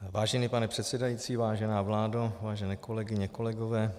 Vážený pane předsedající, vážená vládo, vážené kolegyně, kolegové.